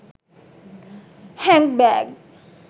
hand bag